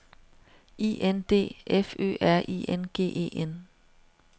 I N D F Ø R I N G E N